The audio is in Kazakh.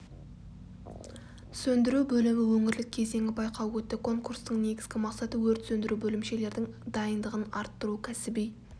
сөндіру бөлімі өңірлік кезеңі байқауы өтті конкурстың негізгі мақсаты өрт сөндіру бөлімшелердің дайындығын арттыру кәсіби